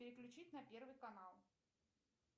переключить на первый канал